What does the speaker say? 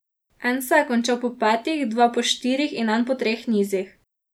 En se je končal po petih, dva po štirih in en po treh nizih.